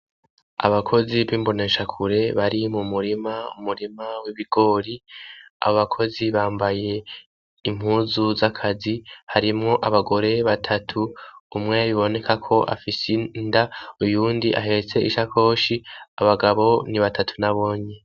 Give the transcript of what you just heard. Abakoze b'imboneshakure bari mumurima, umurima w'ibigori. Abakozi bambaye impuzu z'akazi. Harimwo abagore batatu, umwe biboneka ko afise inda, uwundi ahetse ishakoshi. Abagabo ni batatu nabone.